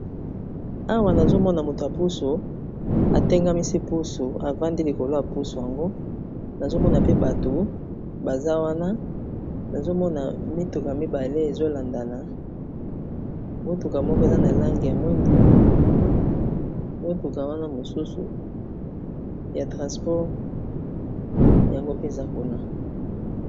awa nazomona moto ya pusu atengamisi pusu avandi likolo yapusu yango nazomona pe bato baza wana nazomona mituka mibale ezolandana motuka moko eza na langi ya mwindo motuka wana mosusu ya transport yango mpenza kuna